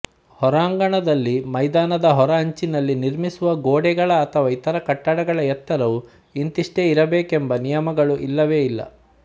ಹೊರಾಂಗಣದಲ್ಲಿ ಮೈದಾನದ ಹೊರ ಅಂಚಿನಲ್ಲಿ ನಿರ್ಮಿಸುವ ಗೋಡೆಗಳ ಅಥವಾ ಇತರ ಕಟ್ಟಡಗಳ ಎತ್ತರವು ಇಂತಿಷ್ಟೇ ಇರಬೇಕೆಂಬ ನಿಯಮಗಳು ಇಲ್ಲವೇ ಇಲ್ಲ